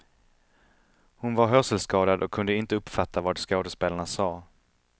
Hon var hörselskadad och kunde inte uppfatta vad skådespelarna sade.